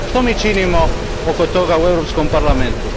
Što mi činimo oko toga u Europskom parlamentu?